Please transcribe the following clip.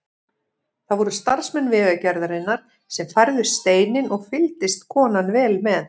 Það voru starfsmenn Vegagerðarinnar sem færðu steininn og fylgdist konan vel með.